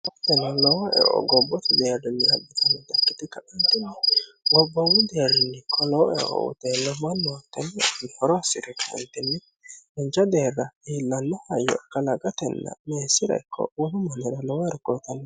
Tini lowo eo gobbote deerrinni abbitnnota ikkite ka'antini gobbomu deerrinni koloo eo oteennmoo noottenninihoroassire kantinni nincha deerra iillanno hayyo kalaqatenna meessira ikko wolu manira lowo erkoo uyitanni